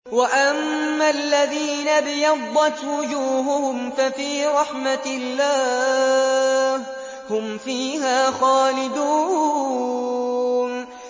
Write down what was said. وَأَمَّا الَّذِينَ ابْيَضَّتْ وُجُوهُهُمْ فَفِي رَحْمَةِ اللَّهِ هُمْ فِيهَا خَالِدُونَ